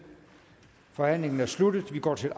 forhandlingen er sluttet og vi går til